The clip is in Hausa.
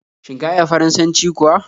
Shin ka iya Faransanci kuwa?